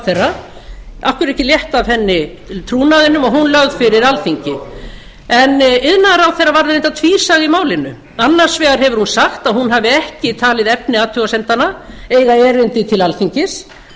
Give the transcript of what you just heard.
hverju er ekki létt af henni trúnaðinum og hún lögð fyrir alþingi en iðnaðarráðherra varð reyndar tvísaga í málinu annars vegar hefur hún sagt að hún hafi ekki talið efni athugasemdanna eiga erindi til alþingis